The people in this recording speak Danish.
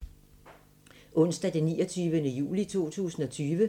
Onsdag d. 29. juli 2020